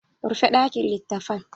Rufe dakin litattafan!